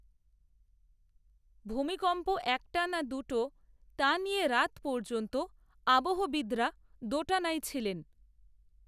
ভূমিকম্প একটা না দুটো, তা নিয়ে রাত পর্যন্ত আবহবিদেরা দোটানায় ছিলেন